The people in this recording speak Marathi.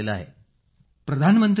अखिल प्रधानमंत्रीजी